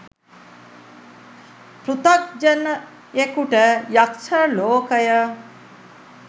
පෘතග්ජනයෙකුට යක්‍ෂ ලෝකය